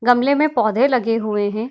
गमले में पौधे लगे हुए हैं।